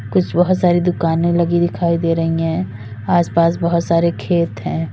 कुछ बहोत सारी दुकानें लगी दिखाई दे रही है आस पास बहोत सारे खेत है।